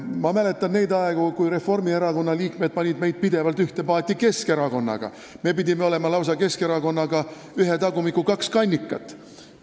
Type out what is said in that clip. Ma mäletan neid aegu, kui Reformierakonna liikmed panid meid pidevalt ühte paati Keskerakonnaga, me pidime Keskerakonnaga olema lausa ühe tagumiku kaks kannikat.